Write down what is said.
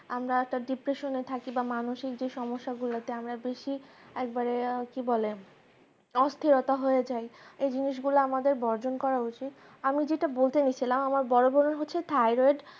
তুমি আমরা তার depression এ থাকি বা মানুষের যে সমস্যা কুলাতে আমরা দেখি একবারে কি বলে অস্থিরতা হয়ে যায় এ জিনিসগুলো আমাদের বর্জন করা উচিত আমি যেটা বলতে চাচ্ছিলাম আমার বড় বোন হচ্ছে thyroid